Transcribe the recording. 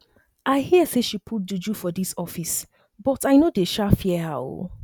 i hear say she put juju for dis office but i no dey um fear her um